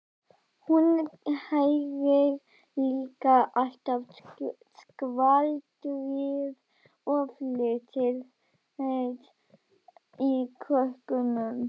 Hún heyrir líka alltaf skvaldrið og flissið í krökkunum.